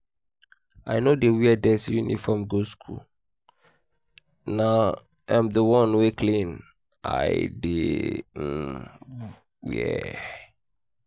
i no dey wear dirty uniform go school na um the one wey clean i dey um dey um wear